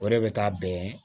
O de bɛ taa bɛn